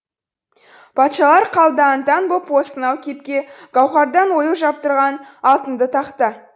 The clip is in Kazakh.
патшалар қалды аң таң боп осынау кепке гауһардан ою жаптырған алтынды тақта